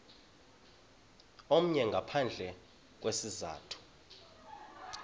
omnye ngaphandle kwesizathu